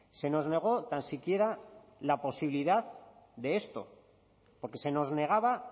se nos negó tan siquiera la posibilidad de esto porque se nos negaba